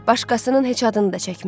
Başqasının heç adını da çəkmə.